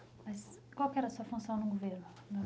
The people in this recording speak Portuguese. Mas qual que era a sua função no governo Sodré?